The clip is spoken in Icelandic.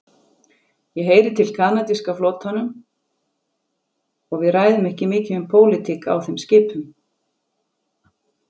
Ég heyri til kanadíska flotanum og við ræðum ekki mikið um pólitík á þeim skipum.